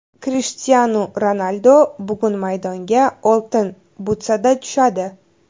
Krishtianu Ronaldu bugun maydonga Oltin butsada tushadi.